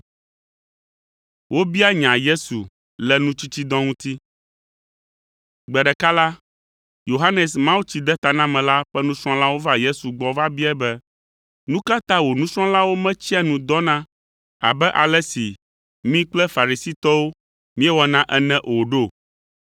Gbe ɖeka la, Yohanes Mawutsidetanamela ƒe nusrɔ̃lawo va Yesu gbɔ va biae be, “Nu ka ta wò nusrɔ̃lawo metsia nu dɔna abe ale si mí kple Farisitɔwo míewɔna ene o ɖo?”